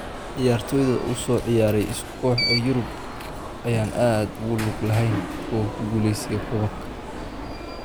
Ciyaartoyda u soo ciyaaray isku koox ee Yurub ayaan aad ugu lug lahayn ku guulaysiga koobabka.